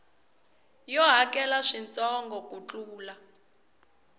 yo hakela swintsongo ku tlula